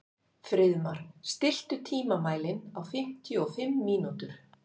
Friðmar, stilltu tímamælinn á fimmtíu og fimm mínútur.